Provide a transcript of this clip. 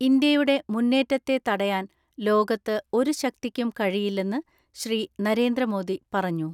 ഇന്ത്യയുടെ മുന്നേറ്റത്തെ തടയാൻ ലോകത്ത് ഒരു ശക്തിക്കും കഴിയില്ലെന്ന് ശ്രീ.നരേന്ദ്രമോദി പറഞ്ഞു.